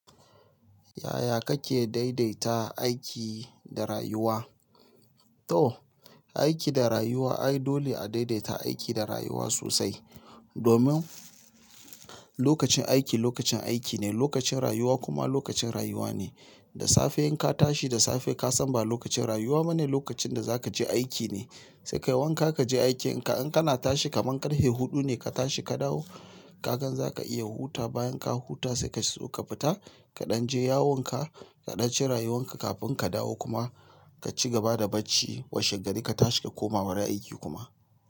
Yaya kake daidaita aiki da rayuwa? To, aiki da rayuwa, ai dole a daidaita aiki da rayuwa sosai. Domin lokacin aiki lokacin aiki ne, lokacin rayuwa kuma lokacin rayuwa ne. Da safe in ka tashi, da safe ka san ba lokacin rayuwa ba ne, lokacin da za ka je aiki ne. Sai ka yi wanka, ka je aikin ka. In kana tashi kaman karfe hudu ne, ka tashi ka dawo, ka gan zaka iya hutawa. Bayan ka huta sai ka so ka fita, ka ɗan je yawon ka, ka ɗan ci rayuwan ka kafin ka dawo kuma ka ci gaba da barci. Washe gari ka tashi ka koma wurin aiki kuma.